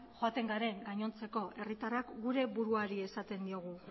joaten garen gainontzeko herritarrak gure buruari esaten diogu